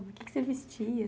O que você vestia?